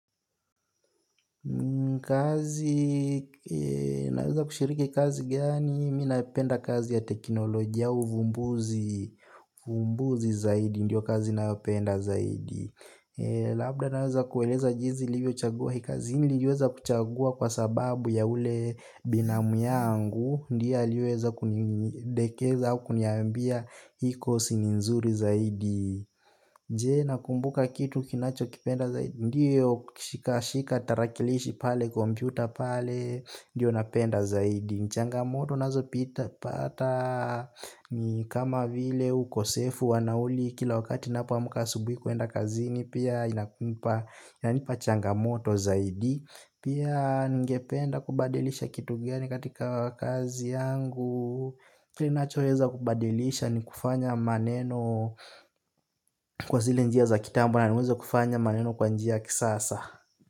Kazi naweza kushiriki kazi gani mi napenda kazi ya teknolojia uvumbuzi zaidi Ndiyo kazi naweza penda zaidi. Labda naweza kueleza jinsi nilivyo chagua hii kazi niliweza kuchagua kwa sababu ya ule binamu yangu ndiyo aliweza kunidekeza hakuniambia hii kosi ni nzuri zaidi. Je nakumbuka kitu kinacho kipenda zaidi ndiyo shika shika tarakilishi pale kompyuta pale ndiyo napenda zaidi changamoto nazo pita pata. Ni kama vile ukosefu wa nauli kila wakati ninapoamka asubuhi kuenda kazini pia inanipa changamoto zaidi. Pia ningependa kubadilisha kitu gani katika kazi yangu kile nachoweza kubadilisha ni kufanya maneno kwa zile njia za kitambo na niweze kufanya maneno kwa njia kisasa.